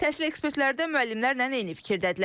Təhsil ekspertləri də müəllimlərlə eyni fikirdədirlər.